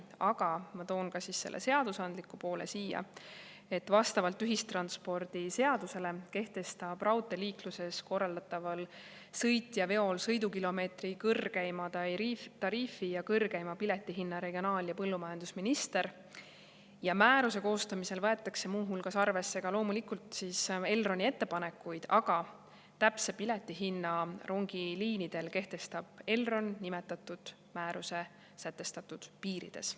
Aga ma toon ka selle seadusandliku poole siia: vastavalt ühistranspordiseadusele kehtestab raudteeliikluses korraldataval sõitjaveol sõidukilomeetri kõrgeima tariifi ja kõrgeima piletihinna regionaal‑ ja põllumajandusminister ja määruse koostamisel võetakse muu hulgas arvesse ka Elroni ettepanekuid, aga täpse piletihinna rongiliinidel kehtestab Elron nimetatud määruse sätestatud piirides.